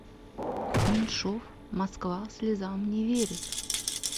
меньшов москва слезам не верит